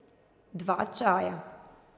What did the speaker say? Dva čaja.